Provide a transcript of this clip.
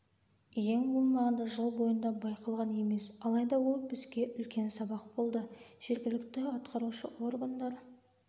ең болмағанда жыл бойында байқалған емес алайда ол бізге үлкен сабақ болды жергілікті атқарушы органдар